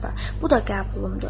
Bu da qəbulumdur.